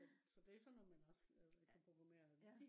så det er sådan noget man også kan lave kan programmere